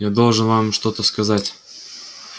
я должен вам что-то сказать